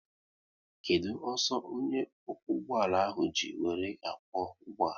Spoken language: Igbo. Kedụ ọsọ onye okwu ụgbọala ahụ ji wéré akwo ụgbọala?